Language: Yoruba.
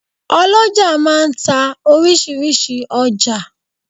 oloja máà ń ta orísirísi ọjà.